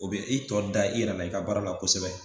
O bɛ i tɔ da i yɛrɛ i ka baara la kosɛbɛ